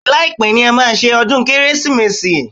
Bẹ́ẹ̀ni, láìpé ni a máa ṣe ọdún Kérésìmesì